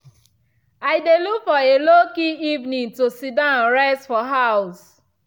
i dey look for a low key evening to sidon rest for house.